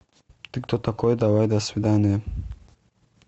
ты кто такой давай до свидания